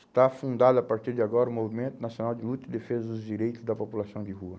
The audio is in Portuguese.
Está fundado a partir de agora o Movimento Nacional de Luta e Defesa dos Direitos da População de Rua.